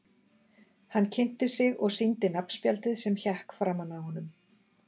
Hann kynnti sig og sýndi nafnspjaldið sem hékk framan á honum.